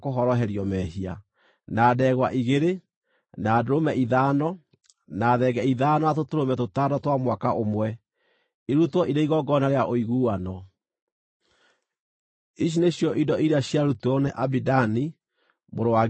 na ndegwa igĩrĩ, na ndũrũme ithano, na thenge ithano, na tũtũrũme tũtano twa mwaka ũmwe, irutwo irĩ igongona rĩa ũiguano. Ici nĩcio indo iria ciarutirwo nĩ Abidani mũrũ wa Gideoni.